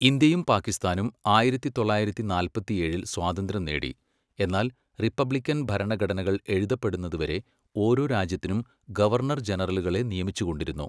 ഇന്ത്യയും പാകിസ്ഥാനും ആയിരത്തി തൊള്ളായിരത്തി നാല്പത്തിയേഴിൽ സ്വാതന്ത്ര്യം നേടി, എന്നാൽ റിപ്പബ്ലിക്കൻ ഭരണഘടനകൾ എഴുതപ്പെടുന്നതുവരെ ഓരോ രാജ്യത്തിനും ഗവർണർ ജനറലുകളെ നിയമിച്ചുകൊണ്ടിരുന്നു.